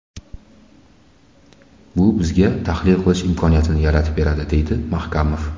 Bu bizga tahlil qilish imkoniyatini yaratib beradi”, deydi Mahkamov.